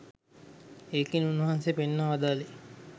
ඒකෙන් උන්වහන්සේ පෙන්වා වදාළේ